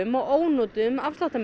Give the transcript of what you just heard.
og ónotuðum